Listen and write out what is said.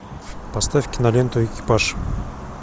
поставь киноленту экипаж